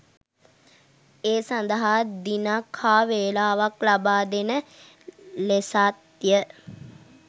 ඒ සඳහා දිනයක් හා වේලාවක් ලබාදෙන ලෙසත්ය